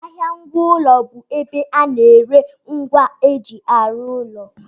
Ahịa ngwa ụlọ bụ ebe a na-ere ngwa eji arụ ụlọ